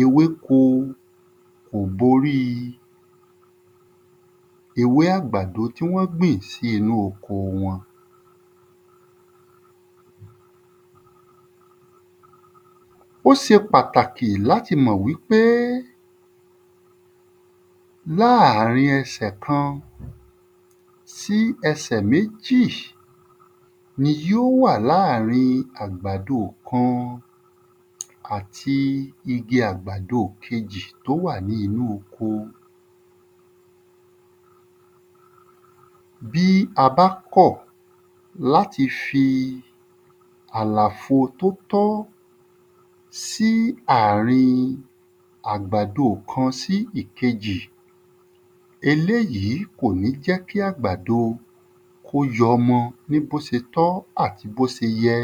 ewéko kò b'orí i ewé àgbàdo tí wọ́n gbìn sí inú oko wọn Ó se pàtàkì l'áti mọ̀ wí pé láàrin ẹsẹ̀ kan sí ẹsẹ̀ méjì ni yó wà láàrin àgbàdo kan àti igi àgb̀do kejì t'ó wà ní inú oko. Bí a bá kọ̀ l'áti fi àlàfo tó tọ́ sí àrin àgbàdo kan sí èkejì, eléyí kò ní jẹ́ kí àgbàdo kó y'ọmọ ní b'ó ti tọ́ àti b'ó se yẹ.